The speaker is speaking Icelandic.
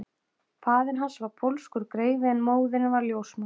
Faðir hans var pólskur greifi en móðirin var ljósmóðir